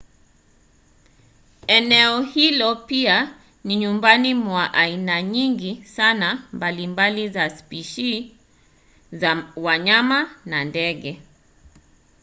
eneo hilo pia ni nyumbani mwa aina nyingi sana mbalimbali za spishi za wanyama na ndege